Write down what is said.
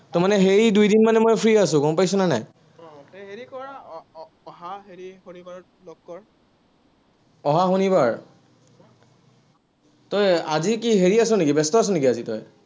তাৰমানে সেই দুদিন মানে মই free আছো, গম পাইছ নে নাই। অহা শনিবাৰ তই আজি কি হেৰি আছ নেকি, ব্যস্ত আছ নেকি, আজি তই?